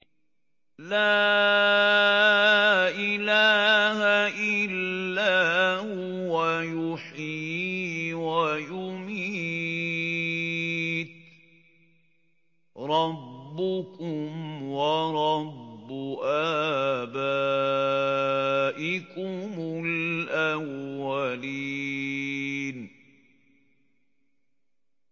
لَا إِلَٰهَ إِلَّا هُوَ يُحْيِي وَيُمِيتُ ۖ رَبُّكُمْ وَرَبُّ آبَائِكُمُ الْأَوَّلِينَ